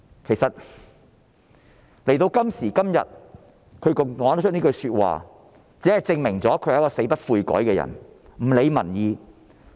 其實，她在今時今日還說出這些話，只能證明她是一個死不悔改、不理民意的人。